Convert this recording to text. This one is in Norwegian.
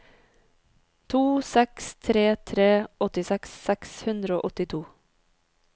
to seks tre tre åttiseks seks hundre og åttito